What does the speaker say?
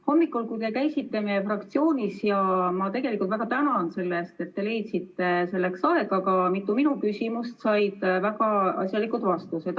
Hommikul käisite meie fraktsioonis ja ma väga tänan teid selle eest, et leidsite selleks aega, mitu minu küsimust said väga asjalikud vastused.